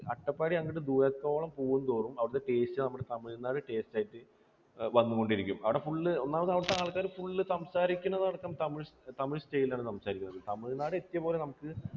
നമ്മൾ ഈ അട്ടപ്പാടി അങ്ങോട്ട് ദൂരത്തോട്ട് പോകുന്തോറും അവിടുത്തെ taste നമ്മുടെ തമിഴ്നാട് taste ആയിട്ട് വന്നുകൊണ്ടിരിക്കും. അവിടെ full ഒന്നാമത് അവിടുത്തെ ആൾക്കാർ full സംസാരിക്കുന്നത് അടക്കം തമിഴ് style ലാണ് സംസാരിക്കുന്നത്. തമിഴ്നാട് എത്തിയതുപോലെ നമുക്ക്